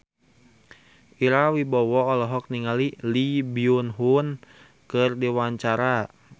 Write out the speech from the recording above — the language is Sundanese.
Ira Wibowo olohok ningali Lee Byung Hun keur diwawancara